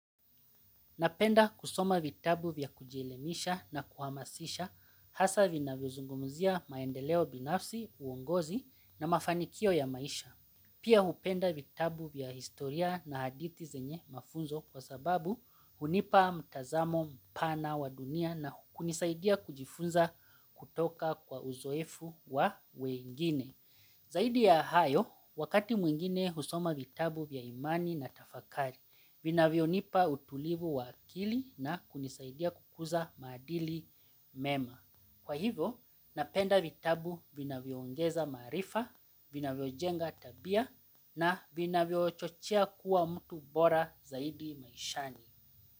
Napenda kusoma vitabu vya kujielimisha na kuhamasisha hasa vinavyo zungumuzia maendeleo binafsi, uongozi na mafanikio ya maisha. Pia hupenda vitabu vya historia na hadithi zenye mafunzo kwa sababu hunipa mtazamo mpana wa dunia na kunisaidia kujifunza kutoka kwa uzoefu wa weingine. Zaidi ya hayo wakati mwingine husoma vitabu vya imani na tafakari vinavyo nipa utulivu wa akili na hunisaidia kukuza maadili mema. Kwa hivyo, napenda vitabu vina vyoaongeza maarifa, vina vyo jenga tabia na vina vyo chochea kuwa mtu bora zaidi maishani.